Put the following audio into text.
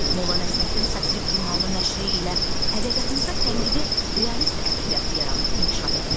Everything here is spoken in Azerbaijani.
Molla Nəsrəddin satirik jurnalının nəşri ilə ədəbiyyatımızda tənqidi realist ədəbiyyat yaranıb inkişaf etmişdi.